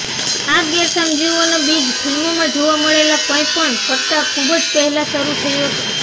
આ ગેરસમજીઓના બીજ ફિલ્મોમાં જોવા મળેલા કંઈપણ કરતાં ખૂબ પહેલાં શરૂ થયો હતો